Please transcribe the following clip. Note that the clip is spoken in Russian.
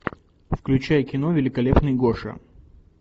включай кино великолепный гоша